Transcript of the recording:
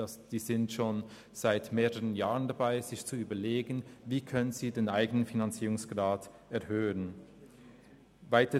Die Verantwortlichen sind schon seit mehreren Jahren dabei, sich zu überlegen, wie sie den eigenen Finanzierungsgrad erhöhen können.